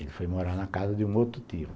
Ele foi morar na casa de um outro tio.